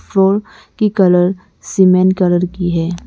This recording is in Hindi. की कलर सीमेंट कलर की है।